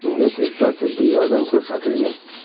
Unga tezkor tibbiy yordam ko‘rsatilgan.